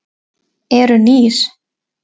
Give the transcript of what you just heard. Eru nýr?